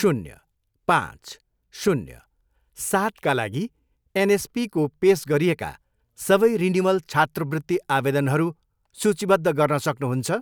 शून्य, पाँच, शून्य, सातका लागि एनएसपीको पेस गरिएका सबै रिनिवल छात्रवृत्ति आवेदनहरू सूचीबद्ध गर्न सक्नुहुन्छ?